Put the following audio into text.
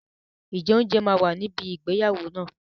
Ǹjẹ́ oúnjẹ máa wà níbi ìgbéyàwó náà?